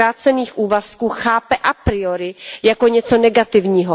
zkrácených úvazků, chápe a priori jako něco negativního.